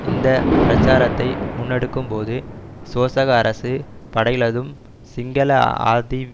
இந்த பிரச்சாரத்தை முன்னெடுக்கும் போது சோசக அரசு படைகளதும் சிங்கள அதி